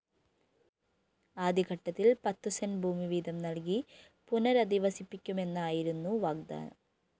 ആദ്യഘട്ടത്തില്‍ പത്തുസെന്റ് ഭൂമിവീതം നല്‍കി പുനരധിവസിപ്പിക്കുമെന്നായിരുന്നു വാഗ്ദാനം